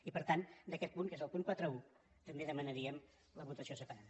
i per tant d’aquest punt que és el punt quaranta un també demanaríem la votació separada